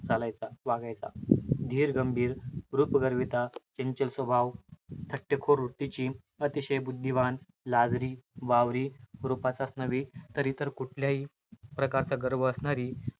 चालायचा, वागायचा. धीरगंभीर, रुपगर्विता, चंचल स्वभाव, थट्टेखोर वृत्तीची, अतिशय बुद्धिवान, लाजरी, बावरी, रूपाचाच नव्हे तर इतर कुठल्याही प्रकारचा गर्व असणारी,